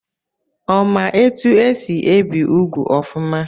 Ọ ma etu esi ebi úgwù ọfụma?